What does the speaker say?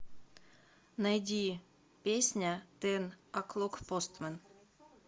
найди песня тэн оклок постмэн